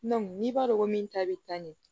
n'i b'a dɔn ko min ta bɛ taa ɲɛ